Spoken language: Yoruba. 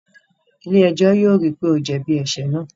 Ilé-ẹjọ yóò ríi pe o jẹbi ẹṣẹ náà